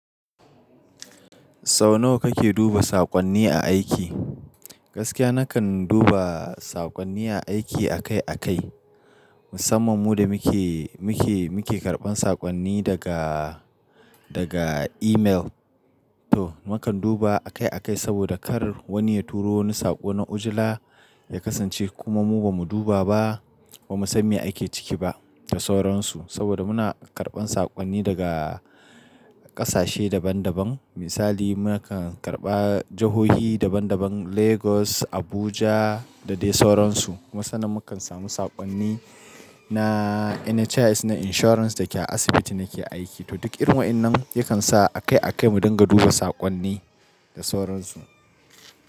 Sau nawa kake duba saƙonni a aiki? Gaskiya nakan duba saƙonni a aiki akai akai, musamman mu da muke, muke, muke karɓan saƙonni daga, daga email. To, mukan duba akai akai saboda kar wani ya turo wani saƙo na ujila ya kasance kuma mu ba mu duba ba, ba mu sam me ake ciki ba da sauransu. Saboda muna karɓan saƙonni daga ƙasashe daban daban. Misali nakan karɓa jahohi daban daban Lagos, Abuja da dai sauransu. Kuma sannan mukan samu saƙonni na NHIS na insurance da ke a asibiti nake aiki. To duk irin wayannan yakan sa akai akai mu dinga duba saƙonni da sauransu.